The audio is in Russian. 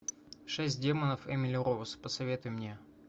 шесть демонов эмили роуз посоветуй мне